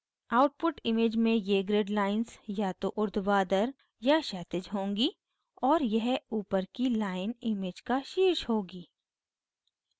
output image में ये grid lines या तो उर्ध्वाधर या क्षैतिज होंगी और यह ऊपर की line image का शीर्ष होगी